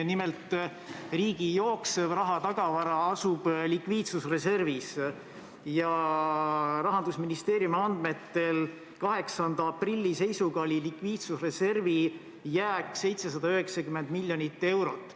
Nimelt, riigi jooksev rahatagavara asub likviidsusreservis ja Rahandusministeeriumi andmetel 8. aprilli seisuga oli likviidsusreservi jääk 790 miljonit eurot.